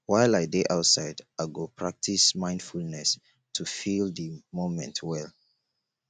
while i dey outside i go practice mindfulness to feel di moment well